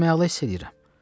Mən özümü yaxşı hiss eləyirəm.